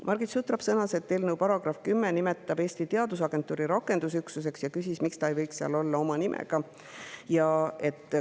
Margit Sutrop sõnas, et eelnõu §‑s 10 nimetatakse Eesti Teadusagentuuri asemel rakendusüksust, ja küsis, miks see ei võiks seal olla oma nimega.